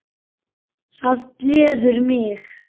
Það gleður mig.